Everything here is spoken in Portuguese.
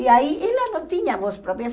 E aí ela não tinha voz própria.